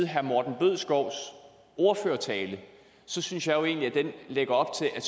herre morten bødskov ordførertale synes jeg jo egentlig at den lægger op til at